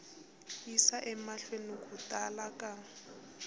yisa emahlweni ku tala ka